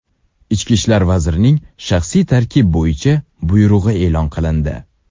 Ichki ishlar vazirining shaxsiy tarkib bo‘yicha buyrug‘i e’lon qilindi.